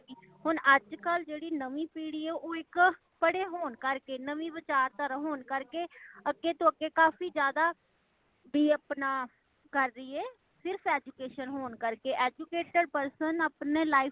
ਹੁਣ ਅੱਜ ਕਲ ਜੇੜੀ ਨਵੀਂ ਪੀੜੀ ਹੈ ਉਹ ਇਕ ਪੜੇ ਹੋਣ ਕਰਕੇ , ਨਵੀ ਵਿਚਾਰ ਦਾਰਾ ਹੋਣ ਕਰਕੇ ਅੱਗੇ ਤੋਂ ਅੱਗੇ ਕਾਫੀ ਜ਼ਿਆਦਾ , ਬੀ ਆਪਣਾ ਕਾਰ ਰਹੀ ਏ ,ਸਿਰਫ education ਹੋਣ ਕਰਕੇ ਕੇ educated person ਆਪਣੀ life